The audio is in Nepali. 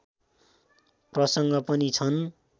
प्रसङ्ग पनि छन्